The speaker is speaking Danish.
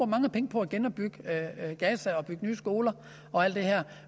mange penge på at genopbygge gaza og bygge nye skoler og alt det her